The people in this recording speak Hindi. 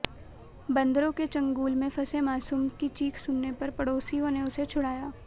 बंदरों के चंगुल में फंसे मासूम की चीख सुनने पर पड़ोसियों ने उसे छुड़ाया